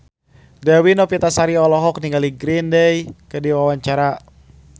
Dewi Novitasari olohok ningali Green Day keur diwawancara